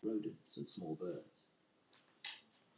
Þá förum við á Norðurpólinn.